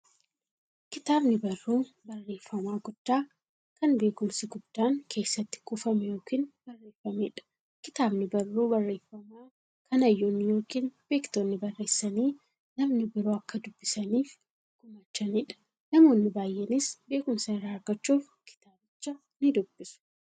Kitaabni barruu barreeffamaa guddaa, kan beekumsi guddaan keessatti kuufame yookiin barreefameedha. Kitaabni barruu barreeffamaa, kan hayyoonni yookiin beektonni barreessanii, namni biroo akka dubbisaniif gumaachaniidha. Namoonni baay'eenis beekumsa irraa argachuuf kitaabicha nidubbisu.